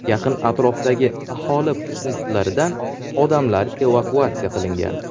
Yaqin atrofdagi aholi punktlaridan odamlar evakuatsiya qilingan.